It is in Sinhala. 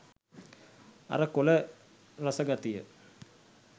අර කොල රස ගතිය